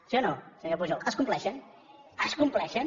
sí o no senyor pujol es compleixen es compleixen